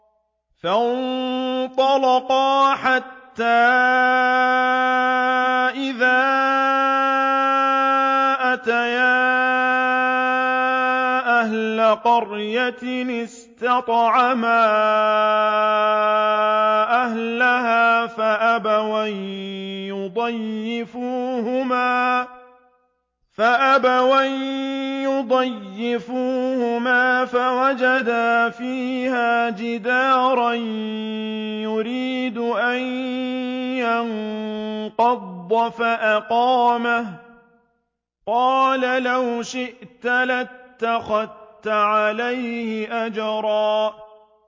فَانطَلَقَا حَتَّىٰ إِذَا أَتَيَا أَهْلَ قَرْيَةٍ اسْتَطْعَمَا أَهْلَهَا فَأَبَوْا أَن يُضَيِّفُوهُمَا فَوَجَدَا فِيهَا جِدَارًا يُرِيدُ أَن يَنقَضَّ فَأَقَامَهُ ۖ قَالَ لَوْ شِئْتَ لَاتَّخَذْتَ عَلَيْهِ أَجْرًا